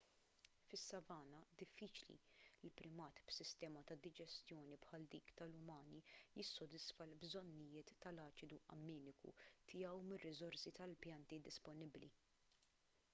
fis-savanna diffiċli li primat b'sistema ta' diġestjoni bħal dik tal-umani jissodisfa l-bżonnijiet tal-aċidu amminiku tiegħu mir-riżorsi tal-pjanti disponibbli